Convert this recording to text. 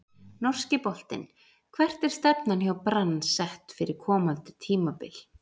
Norski boltinn Hvert er stefnan hjá Brann sett fyrir komandi tímabil?